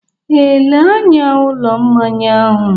Ee, lee anya ụlọ mmanya ahụ